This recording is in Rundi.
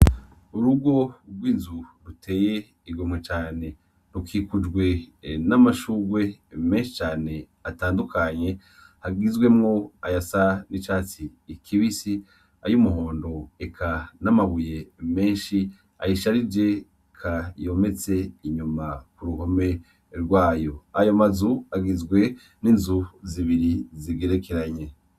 Urugo rw'inzu ruteye igomwe cane, rukikujwe n'amashurwe menshi cane atandukanye, hagizwemwo ayasa n'icatsi kibisi, ay'umuhondo, n'amabuye menshi, ayisharije, yometse inyuma ku ruhome rwayo, ayo mazu agizwe n'inzu zibiri zigerekeranye.